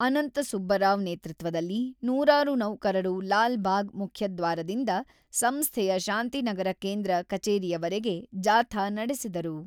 ಅನಂತಸುಬ್ಬರಾವ್ ನೇತೃತ್ವದಲ್ಲಿ ನೂರಾರು ನೌಕರರು ಲಾಲ್‌ಭಾಗ್ ಮುಖ್ಯದ್ವಾರದಿಂದ ಸಂಸ್ಥೆಯ ಶಾಂತಿನಗರ ಕೇಂದ್ರ ಕಚೇರಿವರೆಗೆ ಜಾಥಾ ನಡೆಸಿದರು.